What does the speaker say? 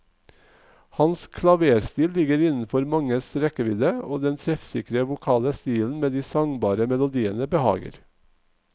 Hans klaverstil ligger innenfor manges rekkevidde, og den treffsikre vokale stilen med de sangbare melodiene behager.